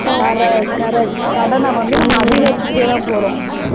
Correct correct கடனை வந்து அதிகரித்துக்கொண்டே தான் போறோம்கனடா.